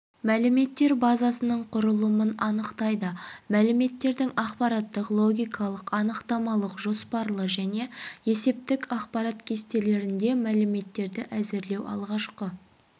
мәліметтер базасының құрылымын анықтайды мәліметтердің ақпараттық логикалық анықтамалық жоспарлы және есептік ақпарат кестелерінде макеттерді әзірлеу алғашқы